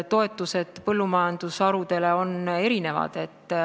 Toetused eri põllumajandusharudele on erinevad.